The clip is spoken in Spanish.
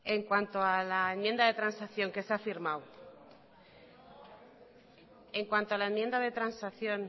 en cuanto a la enmienda de transacción